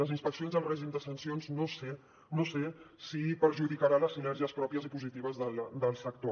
les inspeccions el règim de sancions no sé si perjudicaran les sinergies pròpies i positives del sector